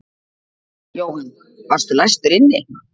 Jóhann: Varstu læstur inni?